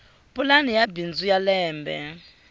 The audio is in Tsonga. pulani ya bindzu ya lembe